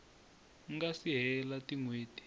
nga si hela tin hweti